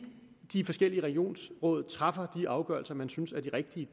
de forskellige regionsråd træffer de afgørelser man synes er de rigtige